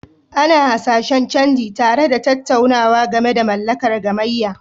Ana hasashen canji, tare da tattaunawa game da mallakar gamayya.